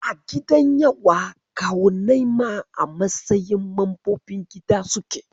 A gidan yawa, kawunnai ma a matsayin mambobin gida suke.